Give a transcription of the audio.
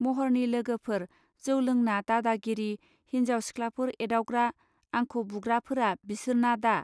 महरनि लोगोफोर जौ लोंना दादागिरि, हिन्जाव सिख्लाफोर एदावग्रा आंखौ बुग्राफोरा बिसोरना दा